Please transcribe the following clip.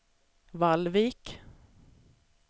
Vallvik